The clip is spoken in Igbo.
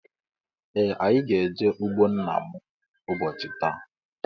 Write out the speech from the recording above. Ee anyị gá -eje ụgbọ nna mụ ụbọchị taa.